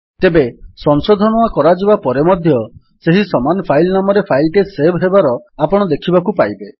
ତେବେ ସଂଶୋଧନ କରାଯିବା ପରେ ମଧ୍ୟ ସେହି ସମାନ ଫାଇଲ୍ ନାମରେ ଫାଇଲ୍ ଟି ସେଭ୍ ହେବାର ଆପଣ ଦେଖିବାକୁ ପାଇବେ